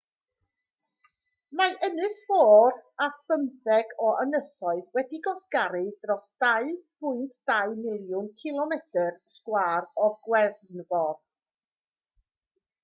mae'n ynysfor â phymtheg o ynysoedd wedi'u gwasgaru dros 2.2 miliwn cilomedr sgwâr o gefnfor